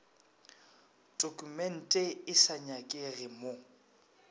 tokumente e sa nyakege mo